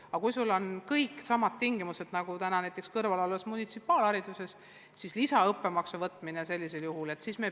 Aga kui erakoolil on kõik samad tingimused nagu kõrvalolevas munitsipaalkoolis, siis lisaõppemaksu võtta ei ole mõistlik.